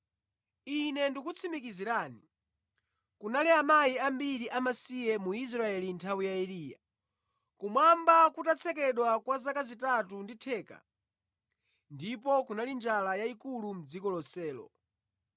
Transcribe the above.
Ine ndikukutsimikizirani kunali amayi ambiri amasiye mu Israeli mʼnthawi ya Eliya, kumwamba kutatsekedwa kwa zaka zitatu ndi theka ndipo kunali njala yayikulu mʼdziko lonselo.